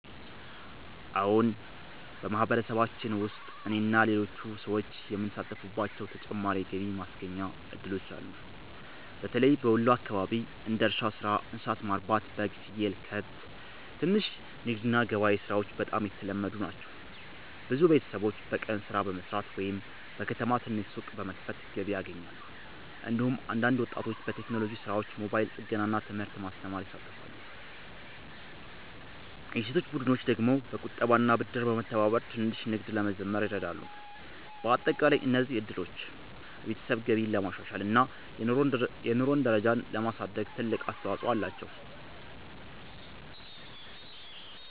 አዎን፣ በማህበረሰባችን ውስጥ እኔና ሌሎች ሰዎች የምንሳተፍባቸው ተጨማሪ የገቢ ማስገኛ እድሎች አሉ። በተለይም በወሎ አካባቢ እንደ እርሻ ሥራ፣ እንስሳት ማርባት (በግ፣ ፍየል፣ ከብት)፣ ትንሽ ንግድ እና ገበያ ሥራዎች በጣም የተለመዱ ናቸው። ብዙ ቤተሰቦች በቀን ሥራ በመስራት ወይም በከተማ ትንሽ ሱቅ በመክፈት ገቢ ያገኛሉ። እንዲሁም አንዳንድ ወጣቶች በቴክኖሎጂ ሥራዎች፣ ሞባይል ጥገና እና ትምህርት ማስተማር ይሳተፋሉ። የሴቶች ቡድኖች ደግሞ በቁጠባና ብድር በመተባበር ትንሽ ንግድ ለመጀመር ይረዳሉ። በአጠቃላይ እነዚህ እድሎች የቤተሰብ ገቢን ለማሻሻል እና የኑሮ ደረጃን ለማሳደግ ትልቅ አስተዋፅኦ አላቸው።